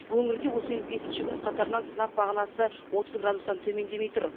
өңірде осымен бесінші күн қатарынан сынап бағанасы отыз градустан төмендемей тұр